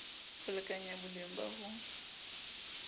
ho lekanya boleng ba ho